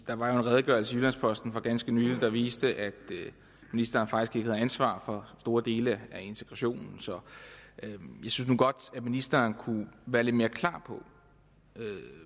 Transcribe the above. der var jo en redegørelse i jyllands posten for ganske nylig der viste at ministeren faktisk ikke har ansvar for store dele af integrationen så jeg synes nu godt at ministeren kunne være lidt mere klar på